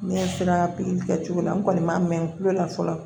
Ne sera pikiri kɛcogo la n kɔni ma mɛn n bolo la fɔlɔ